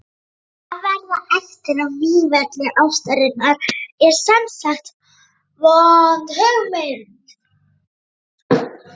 Að verða eftir á vígvelli ástarinnar er semsagt vond hugmynd.